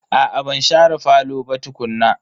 Aa ban share falo ba tukuna.